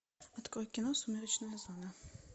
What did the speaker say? открой кино сумеречная зона